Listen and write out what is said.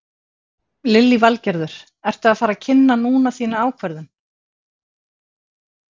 Lillý Valgerður: Ertu að fara að kynna núna þína ákvörðun?